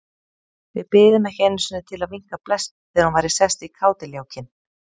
Við biðum ekki einu sinni til að vinka bless þegar hún væri sest í kádiljákinn.